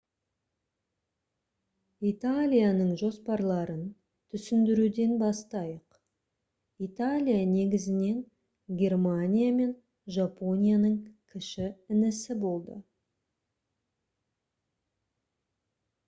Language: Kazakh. италияның жоспарларын түсіндіруден бастайық. италия негізінен германия мен жапонияның «кіші інісі» болды